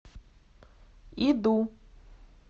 иду